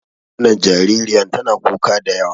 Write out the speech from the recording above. Wannan jaririyan tana kuka da yawa.